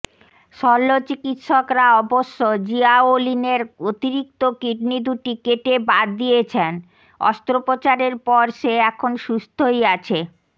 শল্যচিকিৎসকরা অবশ্য জিয়াওলিনের অতিরিক্ত কিডনি দুটি কেটে বাদ দিয়েছেন অস্ত্রোপচারের পর সে এখন সুস্থই আছে